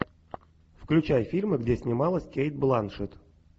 включай фильмы где снималась кейт бланшет